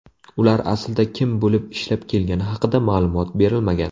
Ular aslida kim bo‘lib ishlab kelgani haqida ma’lumot berilmagan.